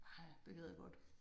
Ej det gad jeg godt